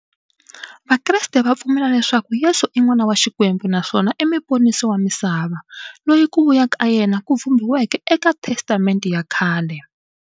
Vakreste va pfumela leswaku Yesu i n'wana wa Xikwembu naswona i muponisi wa misava, loyi ku vuya ka yena ku vhumbiweke e ka Testamente ya khale.